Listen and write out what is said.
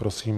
Prosím.